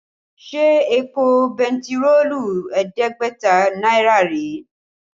Ṣé èpò bentiroolu ẹ̀ẹ́dẹ́gbẹ̀ta náírà rèé?